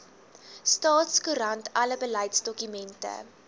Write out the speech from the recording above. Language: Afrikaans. staatskoerant alle beleidsdokumente